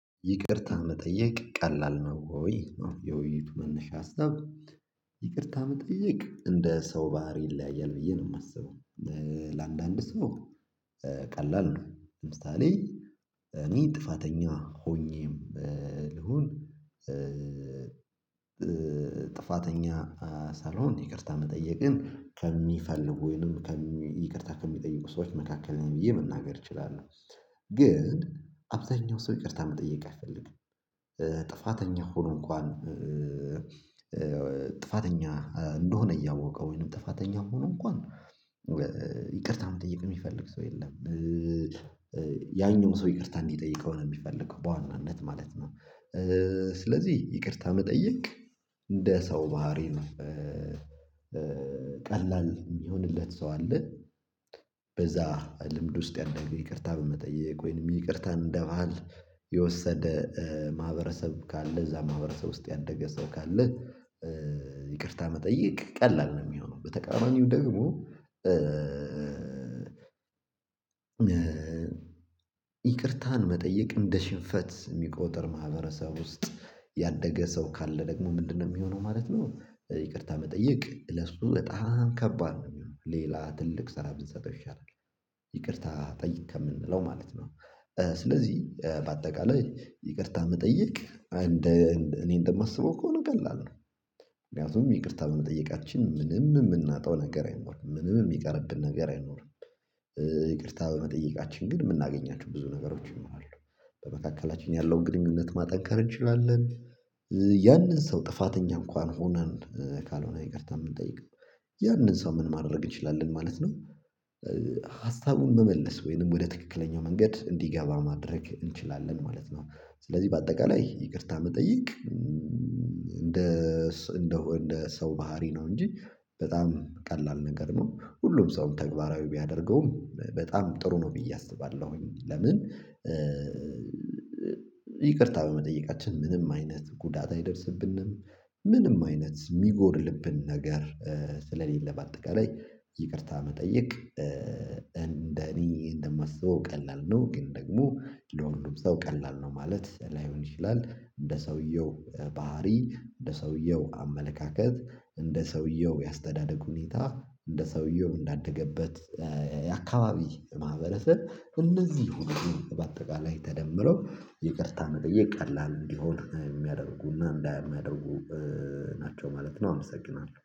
ይቅርታ መጠየቅ ቀላል ነው ወይ? የውይይቱ መነሻ ሀሳብ። ይቅርታ መጠየቅ እንደ ሰው ባህሪ ይለያያል ብዬ ነው የማስበው። ለአንዳንድ ሰው ቀላል ነው። ለምሳሌ እኔ ጥፋተኛ ሆኜም ልሁን ጥፋተኛ ሳልሆን ይቅርታ መጠየቅን ከሚፈልጉ ወይንም ይቅርታ ከሚጠይቁ ሰዎች መካከል ነኝ ብዬ መናገር እችላለሁ። ግን አብዛኛው ሰው ይቅርታ መጠየቅ አይፈልግም። ጥፋተኛ ሆኖ እንኳን ጥፋተኛ እንደሆነ እያወቀ ወይንም ጥፋተኛ ሆኖ እንኳን ይቅርታ መጠየቅ የሚፈልግ ሰው የለም። ያኛው ሰው ይቅርታ እንዲጠይቀው ነው የሚፈልገው በዋናነት ማለት ነው። ስለዚህ ይቅርታ መጠየቅ እንደ ሰው ባህሪ ነው። ቀላል የሚሆንለት ሰው አለ። በዛ ልምድ ውስጥ ያደረገ ይቅርታ በመጠየቅ ወይንም ይቅርታን እንደባህል የወሰደ ማህበረሰብ ካለ እዛ ማህበረሰብ ውስጥ ያደገ ሰው ካለ ይቅርታ መጠየቅ ቀላል ነው የሚሆነው። በተቃራኒው ደግሞ ይቅርታን መጠየቅ እንደ ሽንፈት የሚቆጥር ማህበረሰብ ውስጥ ያደገ ሰው ካለ ደግሞ ምንድነው የሚሆነው ማለት ነው ይቅርታ መጠየቅ ለሱ በጣም ከባድ ነው የሚሆነው። ሌላ ትልቅ ስራ ብንሰጠው ይሻላል። ይቅርታ ጠይቅ ከምንለው ማለት ነው። ስለዚህ በአጠቃላይ ይቅርታ መጠየቅ እንደ እኔ እንደማስበው ከሆነ ቀላል ነው። ምክንያቱም ይቅርታ በመጠየቃችን ምንም የምናጣው ነገር አይኖርም፣ ምንም የሚቀርብን ነገር አይኖርም። ይቅርታ በመጠየቃችን ግን የምናገኛቸው ብዙ ነገሮች ይኖራሉ። በመካከላችን ያለውን ግንኙነት ማጠንከር እንችላለን፣ ያንን ሰው ጥፋተኛ እንኳን ሆነን ካልሆነ ይቅርታ የምንጠይቀው ያንን ሰው ምን ማድረግ እንችላለን ማለት ነው? ሀሳቡን መመለስ ወይንም ወደ ትክክለኛው መንገድ እንዲገባ ማድረግ እንችላለን ማለት ነው። ስለዚህ በአጠቃላይ ይቅርታ መጠየቅ እንደ እንደ እንደ ሰው ባህሪ ነው እንጂ በጣም ቀላል ነገር ነው። ሁሉም ሰው ተግባራዊ ቢያደርገውም በጣም ጥሩ ነው ብዬ አስባለሁኝ። ለምን? ይቅርታ በመጠየቃችን ምንም አይነት ጉዳት አይደርስብንም፣ ምንም አይነት የሚጎድልብን ነገር ስለሌለ በአጠቃላይ ይቅርታ መጠየቅ እንደኔ እንደማስበው ቀላል ነው። ግን ደግሞ ለወንዱም ሰው ቀላል ነው ማለት ላይሆን ይችላል። እንደ ሰውየው ባህሪ፣ እንደ ሰውየው አመለካከት፣ እንደ ሰውየው የአስተዳደግ ሁኔታ፣ እንደ ሰውየው እንዳደገበት የአካባቢ ማህበረሰብ እነዚህ ሁሉ በአጠቃላይ ተደምረው ይቅርታ መጠየቅ ቀላል እንዲሆን የሚያደርጉና እንዳያደርጉ ናቸው ማለት ነው። አመሰግናለሁ።